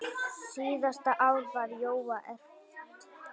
Síðasta ár var Jóa erfitt.